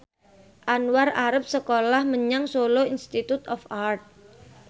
Anwar arep sekolah menyang Solo Institute of Art